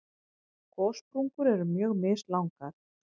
Gossprungur eru mjög mislangar.